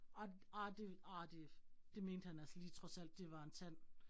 Ej ej det, ej det, det mente han altså lige trods alt, det var en tand